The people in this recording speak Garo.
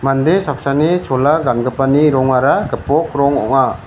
mande saksani chola gangipani rongara gipok rong ong·a.